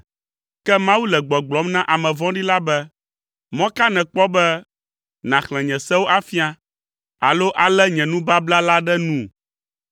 Ke Mawu le gbɔgblɔm na ame vɔ̃ɖi la be: “Mɔ ka nèkpɔ be nàxlẽ nye sewo afia, alo alé nye nubabla la ɖe nu?